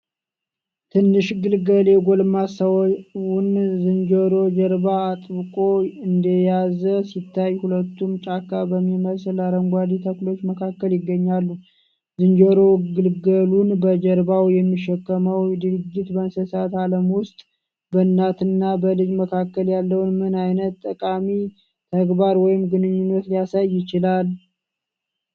ትንሹ ግልገል የጎልማሳውን ዝንጀሮ ጀርባ አጥብቆ እንደያዘ ሲታይ፣ ሁለቱም ጫካ በሚመስል አረንጓዴ ተክሎች መካከል ይገኛሉ። ዝንጀሮ ግልገሉን በጀርባው የሚሸከመው ድርጊት፣ በእንስሳት ዓለም ውስጥ በእናትና በልጅ መካከል ያለውን ምን አይነት ጠቃሚ ተግባር ወይም ግንኙነት ሊያሳይ ይችላል?